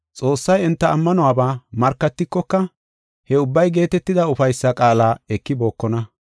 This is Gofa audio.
Xoossay enta ammanuwaba markatikoka, he ubbay geetetida ufaysa qaala ekibookona.